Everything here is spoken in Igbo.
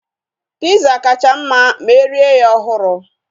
Piza kacha mma ma erie ya ọhụrụ